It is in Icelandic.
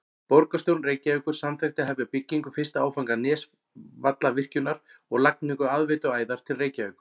Borgarstjórn Reykjavíkur samþykkti að hefja byggingu fyrsta áfanga Nesjavallavirkjunar og lagningu aðveituæðar til Reykjavíkur.